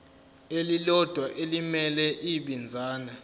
elilodwa elimele ibinzana